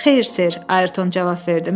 Xeyr sir, Ayerton cavab verdi.